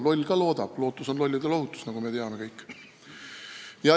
Loll ka loodab, lootus on lollide lohutus, nagu me kõik teame.